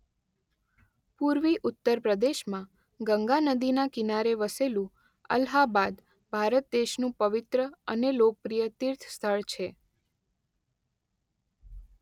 પૂર્વી ઉત્તર પ્રદેશમાં ગંગા નદીના કિનારે વસેલું અલ્હાબાદ ભારત દેશનું પવિત્ર અને લોકપ્રિય તીર્થ સ્થળ છે.